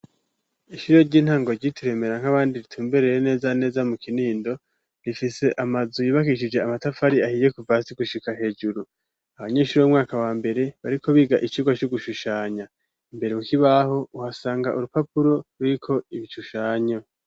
Ishuri ry'intango ryitiremera nk'abandi ritumbereye neza na neza mu Kinindo rifise amazu yubakishije amatafari ahiye kuvas hasi gushika hejuru. Abanyeshuri b'umwaka wa mbere bariko biga iciga co gushushanya. Imbere Ku kibaho uhasanga urupapuro ruriko ibishushanyo.